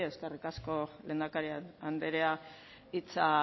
eskerrik asko lehendakari anderea hitza